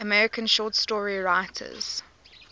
american short story writers